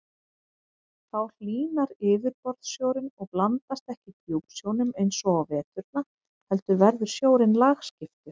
Þá hlýnar yfirborðssjórinn og blandast ekki djúpsjónum eins og á veturna heldur verður sjórinn lagskiptur.